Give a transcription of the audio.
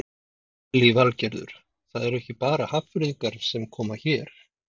Lillý Valgerður: Það eru ekki bara Hafnfirðingar sem koma hérna?